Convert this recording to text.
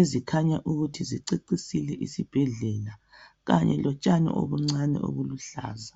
ezikhanya ukuthi zicecisile isibhedlela kanye lotshani obuncane obuluhlaza.